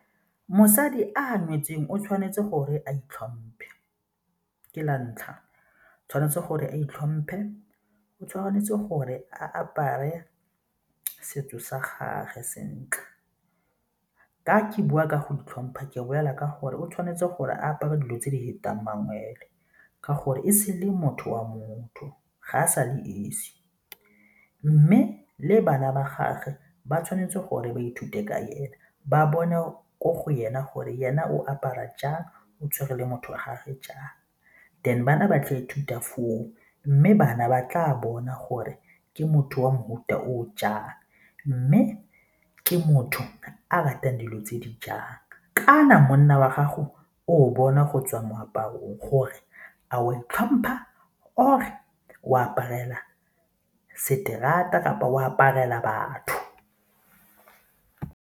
Mosadi a neetsweng o tshwanetse gore a itlhomphe, ke la ntlha, tshwanetse gore a itlhomphe, o tshwanetse gore a apare setso sa gage sentle. Fa ke bua ka go itlhompha ke bolela ka gore o tshwanetse gore apara dilo tse di fetang mangwele ka gore e sele motho wa motho ga a sa le esi mme le bana ba gagwe ba tshwanetse gore ba ithute ka ena, ba bone kwa go ena gore ena o apara jang, o tshwere le motho wa gage jang. Then bana ba tle ithuta foo mme bana ba tla bona gore ke motho wa mofuta o jang mme ke motho a ratang dilo tse di jang kana monna wa gago o bona go tswa moaparong gore a o a tlhompha, or o aparela seterateng kapa o aparela batho.